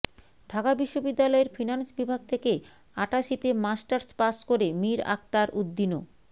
ঢাকা বিশ্ববিদ্যালয়ের ফিন্যান্স বিভাগ থেকে আটাশিতে মাস্টার্স পাস করে মীর আখতার উদ্দীনও